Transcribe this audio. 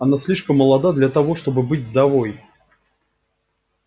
она слишком молода для того чтобы быть вдовой